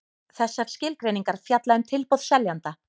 Þessar skilgreiningar fjalla um tilboð seljanda.